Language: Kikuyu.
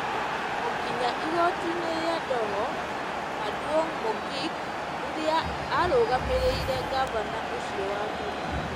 o nginya igoti-inĩ rĩa Doho Maduong' Mogik, rĩrĩa aarũgamĩrĩire Ngavana ũcio wa tene.